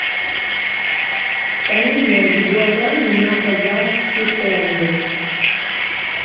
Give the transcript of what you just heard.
поменять гуарани на казахские тенге